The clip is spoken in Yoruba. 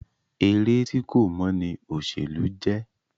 Eré tí kò mọ́ ní òṣèlú jẹ́.